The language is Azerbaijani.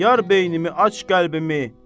Yar beynimi, aç qəlbimi.